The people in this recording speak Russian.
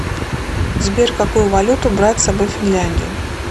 сбер какую валюту брать с собой в финляндию